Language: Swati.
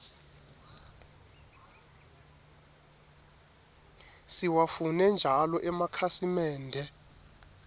siwafune njalo emakhasimende